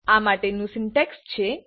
આ માટેનું સિન્ટેક્સ છે